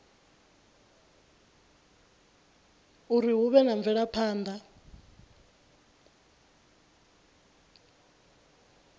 uri hu vhe na mvelaphana